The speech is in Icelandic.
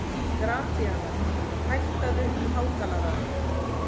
Gratíana, hækkaðu í hátalaranum.